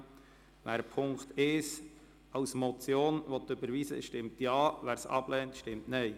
Wer Punkt 1 als Motion überweisen will, stimmt Ja, wer dies ablehnt, stimmt Nein.